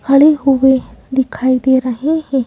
खड़े हुए दिखाई दे रहे हैं।